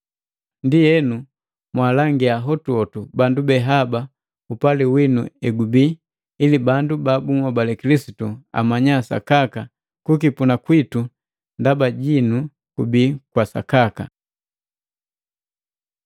Ndienu, mwaalangia hotuhotu bandu be haba upali winu egubii, ili bandu ba bunhobale Kilisitu amanya sakaka kukipuna kwitu ndaba jinu kubii kwa sakaka.